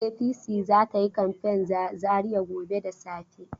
APC za ta yi kamfen za Zariya gobe da safe.